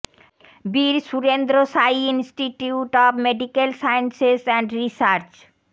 Bir Surendra Sai institute of medical sciences and research